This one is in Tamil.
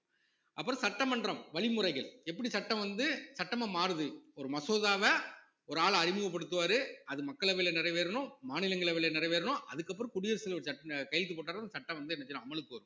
அப்பறம் சட்டமன்றம் வழிமுறைகள் எப்படி சட்டம் வந்து சட்டமா மாறுது ஒரு மசோதாவ ஒரு ஆள் அறிமுகப்படுத்துவாரு அது மக்களவையில நிறைவேறணும், மாநிலங்களவையில நிறைவேறணும் அதுக்கப்புறம் குடியரசு தலைவர் கையெழுத்து போட்டாதான் சட்டம் வந்து என்ன செய்யும் அமலுக்கு வரும்